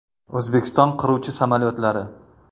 O‘zbekiston qiruvchi samolyotlari.